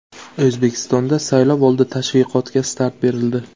O‘zbekistonda saylovoldi tashviqotga start berildi.